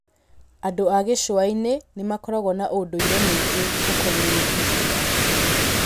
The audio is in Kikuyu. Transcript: Andũ a gĩcũa-inĩ nĩ makoragwo na ũndũire mũingĩ ũkoniĩ iria.